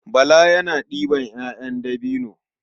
Bala yana ɗeban 'ya'yan dabino.